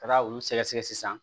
Ka taa olu sɛgɛsɛgɛ sisan